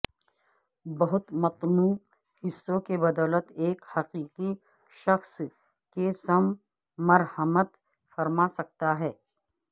بہت متنوع حصوں کی بدولت ایک حقیقی شخص کے سم مرحمت فرما سکتا ہے